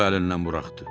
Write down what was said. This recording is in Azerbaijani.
Uşağı əlindən buraxdı.